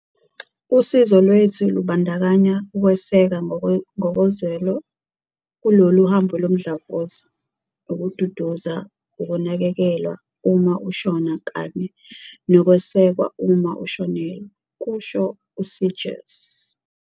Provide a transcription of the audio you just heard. "Usizo lwethu lubandakanya ukweseka ngokozwelo kulolu hambo lomdlavuza, ukududuza, ukunakekelwa uma ushona kanye nokwesekwa uma ushonelwe," kusho u-Seegers.